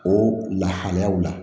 O lahalayaw la